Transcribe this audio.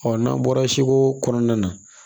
n'an bɔra segu kɔnɔna na